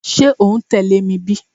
Ṣe o n tẹle mi bi?